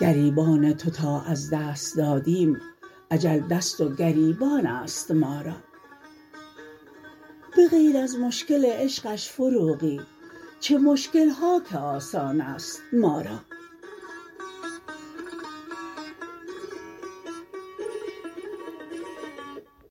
گریبان تو تا از دست دادیم اجل دست و گریبان است ما را به غیر از مشکل عشقش فروغی چه مشکل ها که آسان است ما را